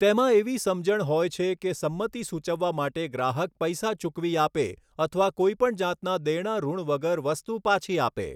તેમાં એવી સમજણ હોય છે કે સંમતિ સૂચવવા માટે ગ્રાહક પૈસા ચૂકવી આપે અથવા કોઈપણ જાતના દેણા ૠણ વગર વસ્તુ પાછી આપે.